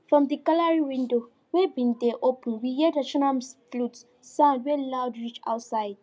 from di gallery window wey been dey open we hear traditional flute sound wey loud reach outside